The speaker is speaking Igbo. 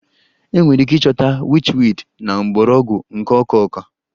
Enwere ike ịchọta witchweed na mgbọrọgwụ nke ọka ọka